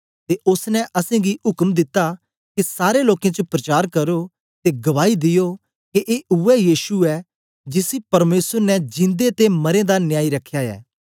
ते ओसने असेंगी उक्म दिता के सारे लोकें च प्रचार करो ते गवाई दियो के ए उवै यीशु ऐ जिसी परमेसर ने जिंदे ते मरें दा न्यायी रखया ऐ